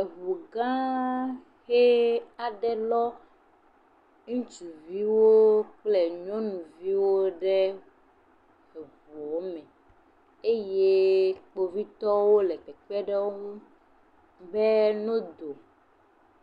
Eʋu gã aɖe lɔ ŋutsuviwo kple nyɔnuviwo ɖo ɖe eʋua me eye kpovitɔwo le kpekpem ɖe wòŋu be nɔ Do